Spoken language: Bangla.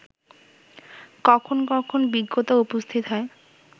কখন কখন বিজ্ঞতা উপস্থিত হয়